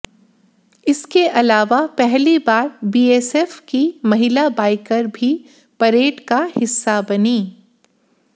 इसके अलावा पहली बार बीएसएफ की महिला बाइकर भी परेड का हिस्सा बनी